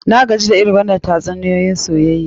Na gaji da irin wannann tatsuniyoyin soyayya.